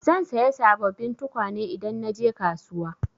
Zan saya sabobbin tukwane idan na je kasuwa.